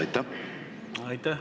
Aitäh!